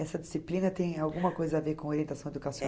Essa disciplina tem alguma coisa a ver com orientação